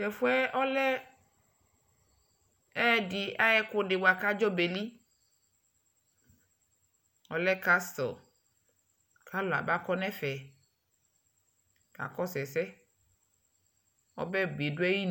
tʋ ɛƒʋɛ ɔlɛ ɛdi ayi ɛkʋ di bʋa kʋ adzɔ bɛli? ɔlɛ castle kʋ alʋ aba kɔnʋ ɛƒɛ kakɔsʋ ɛsɛ, ɔbɛ bidʋ ayinʋ.